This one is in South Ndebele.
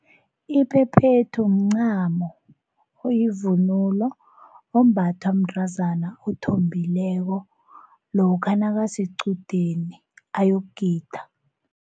Iphephethu mncamo oyivunulo ombathwa mntazana othombileko lokha nakasequdeni ayokugida.